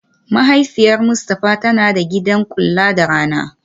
Mahaifiyar Mustafa tana da gidan kula da rana